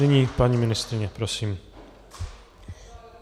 Nyní paní ministryně, prosím.